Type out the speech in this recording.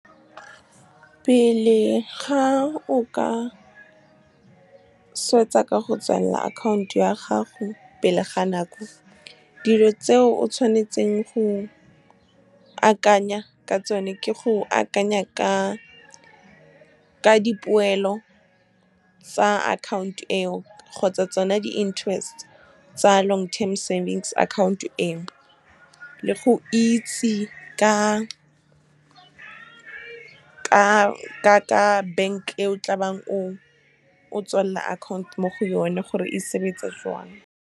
Pele ga o ka swetsa ka go tswalela account ya gago pele ga nako, dilo tseo o tshwanetseng go akanya ka tsone ke go akanya ka dipoelo tsa account e o, kgotsa tsona di-interest tsa long term savings account e o, le go itse ka bank e o tla bang o tswalela account mo go yone, gore e sebetsa jang. Pele ga o ka swetsa ka go tswalela account ya gago pele ga nako, dilo tseo o tshwanetseng go akanya ka tsone ke go akanya ka dipoelo tsa account e o, kgotsa tsona di-interest tsa long term savings account e o, le go itse ka bank e o tla bang o tswalela account mo go yone, gore e sebetsa jang.